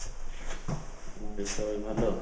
বাড়ির সবাই ভালো?